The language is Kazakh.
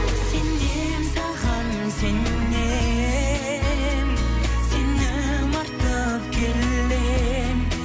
сенемін саған сенемін сенім артып келемін